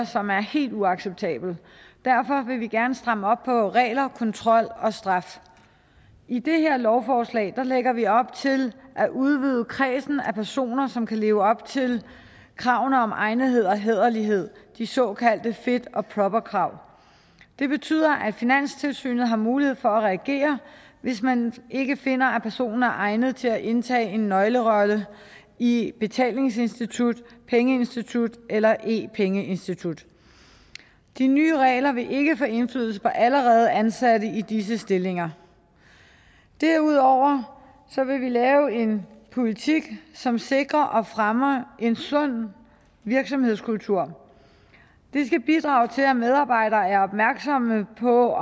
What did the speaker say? som er helt uacceptable derfor vil vi gerne stramme op på regler kontrol og straf i det her lovforslag lægger vi op til at udvide kredsen af personer som kan leve op til kravene om egnethed og hæderlighed de såkaldte fit og proper krav det betyder at finanstilsynet har mulighed for at reagere hvis man ikke finder at personer er egnet til at indtage en nøglerolle i et betalingsinstitut pengeinstitut eller e pengeinstitut de nye regler vil ikke få indflydelse på allerede ansatte i disse stillinger derudover vil vi lave en politik som sikrer og fremmer en sund virksomhedskultur det skal bidrage til at medarbejderne er opmærksomme på